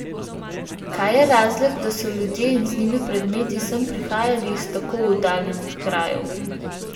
Kaj je razlog, da so ljudje in z njimi predmeti sem prihajali iz tako oddaljenih krajev?